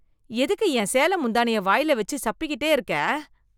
எதுக்கு என் சேல முந்தானைய வாய்ல வெச்சு சப்பி கிட்டே இருக்க.